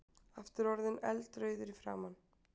Aftur orðinn eldrauður í framan.